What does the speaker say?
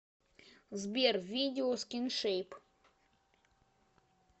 сбер видео скиншейп